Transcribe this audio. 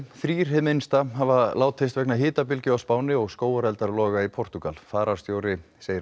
þrír hið minnsta hafa látist vegna hitabylgju á Spáni og skógareldar loga í Portúgal fararstjóri segir að